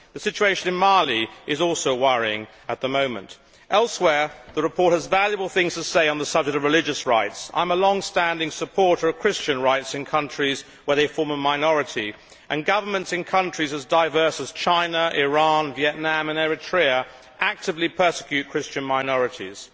The situation in Mali is also worrying at the moment. Elsewhere the report has valuable things to say on the subject of religious rights. I am a longstanding supporter of Christian rights in countries where they form a minority. Governments in countries as diverse as China, Iran, Vietnam and Eritrea actively persecute Christian minorities.